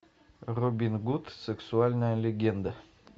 робин гуд сексуальная легенда